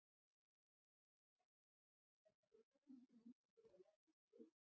Hödd: Er þetta eitthvað sem þú myndir vilja leggja fyrir þig?